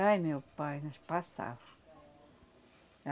Ai, meu pai, nós pastava.